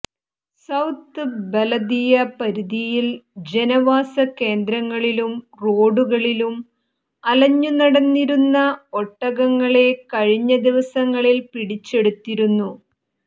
south ബലദിയ പരിധിയിൽ ജനവാസ കേന്ദ്രങ്ങളിലും റോഡുകളിലും അലഞ്ഞുനടന്നിരുന്ന ഒട്ടകങ്ങളെ കഴിഞ്ഞ ദിവസങ്ങളിൽ പിടിച്ചെടുത്തിരുന്നു